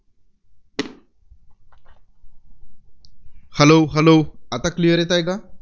Hello Hello आता Clear येतोय का?